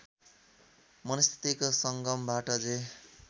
मनस्थितिको सङ्गमबाट जे